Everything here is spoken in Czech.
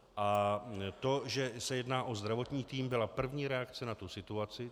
A to, že se jedná o zdravotní tým, byla první reakce na tu situaci.